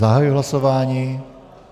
Zahajuji hlasování.